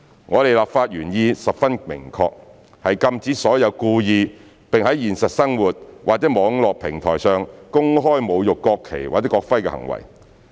我們的立法原意十分明確，是禁止所有故意，並在現實生活或網絡平台上公開侮辱國旗或國徽的行為。